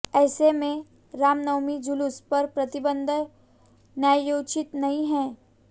ऐसे में रामनवमी जूलूस पर प्रतिबंध न्यायोचित नहीं है